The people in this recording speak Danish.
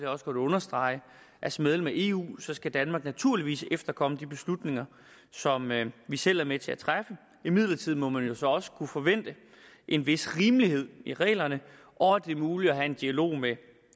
også godt understrege at som medlem af eu skal danmark naturligvis efterkomme de beslutninger som vi selv er med til at træffe imidlertid må man jo så også kunne forvente en vis rimelighed i reglerne og at det er muligt at have en dialog med